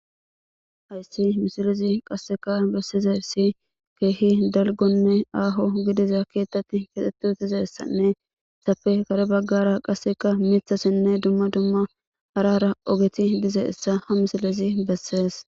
Hayssi misilezi qasseka bessizaysi keehi dalgganne aaho gidiza keethatti kexxetti utizessanne izappe kare baggara qasseka mithasinne dumma dumma harara ogethi dizayissa ha misilezi bessees.